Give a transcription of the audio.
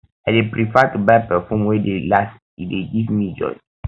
i dey prefer to buy perfume wey dey last e dey give me joy